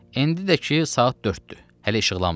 İndi də ki saat dörddür, hələ işıqlanmayıb.